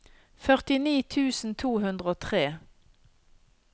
førtini tusen to hundre og tre